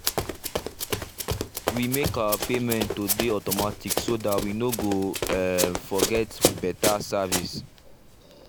we make our payment to dey automatic so dat we no go um forget betta service